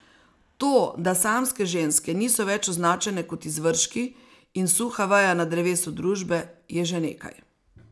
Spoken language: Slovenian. To, da samske ženske niso več označene kot izvržki in suha veja na drevesu družbe, je že nekaj.